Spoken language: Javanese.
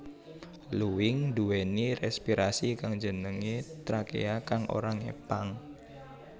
Luwing nduwèni respirasi kang jenengé trakea kang ora ngepang